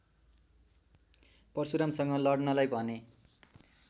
परशुरामसँग लडनलाई भने